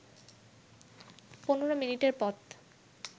১৫ মিনিটের পথ